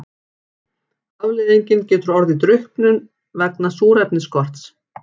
Afleiðingin getur orðið drukknum vegna súrefnisskorts.